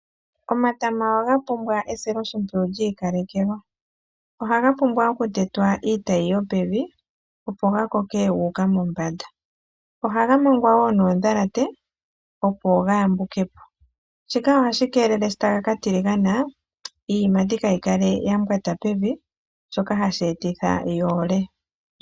Omatama ohaga pumbwa esiloshimpwiyu lyiikalekelwa. Ohaga pumbwa okutetwa iitayi yopevi, opo ga koke gu uka mombanda. Ohaga mangwa woo noondhalate, opo ga yambuke po, shika ohashi keelele shi taga ka tiligana iiyimati kaai kale ya mbwata pevi, shoka hashi etitha ga ole.